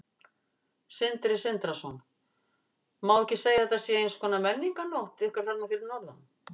Sindri Sindrason: Má ekki segja að þetta sé eins konar menningarnótt ykkar þarna fyrir norðan?